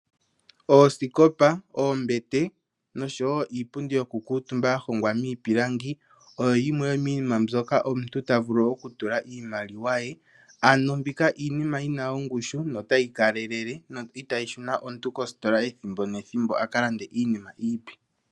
Oosikopa, oombete noshowo iipundi yokukutumbwa yahongwa miipilangi oyo yimwe yomiinima mbika omuntu ta vulu oku mona iimaliwa ye, ano mbika iinima yina oongushu notayi kalele no itayi shuna omuntu koositola ethimbo nethimbo omuntu aka lande iinima iipe.